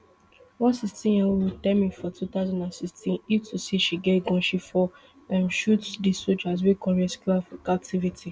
one sixteen year old tell me for two thousand and sixteen say if to say she get gun she um for shoot di sojas wey come rescue her from captivity